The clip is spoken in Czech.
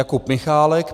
Jakub Michálek -